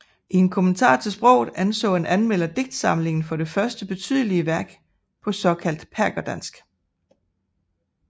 I en kommentar til sproget anså en anmelder digtsamlingen for det første betydelige værk på såkaldt perkerdansk